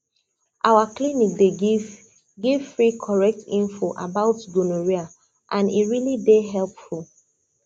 our clinic dey give give free correct info about gonorrhea and e really dey helpful